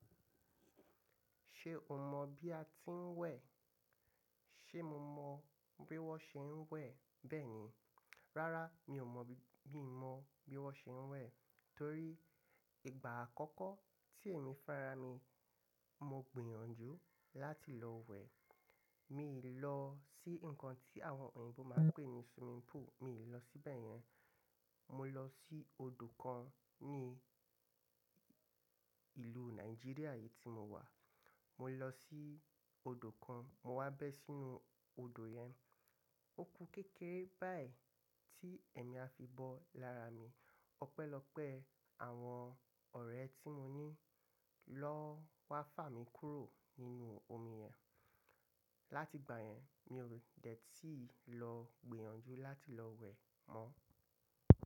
Ṣe o mọ bi a ti ń wẹ̀? Ṣe mo mọ bi wọn ṣe ń wẹ̀ bẹ́ẹ̀ni. Rárá, mi ò mọ̀ bí mo mọ bí wón ṣe ń wẹ̀ torí ìgbà àkọ́kọ́ tí ẹ̀mi fúnra mi, mo gbìyànjú láti lọ wẹ̀. Mi lọ sí nǹkan tí àwọn òyìnbó máa ń pè ní swimming pool, mi ò lọ síbẹ̀ yẹn. Mo lọ sí odò kan ní ìlú Nàìjíríà yìí tí mo wà. Mo lọ sí odò kan, mo wá bẹ́ sínú odò yẹn. Ó kú kékeré báyìí tí ẹ̀mí á fi bọ́ lára mi. Ọpẹ́lọpẹ́ àwọn ọ̀rẹ́ tí mo ní lọ wá fà mí kúrò nínú omi yẹn. Láti ìgbà yẹn, mi ò dẹ̀ tíì lọ gbìyànjú láti lọ wẹ̀ mọ́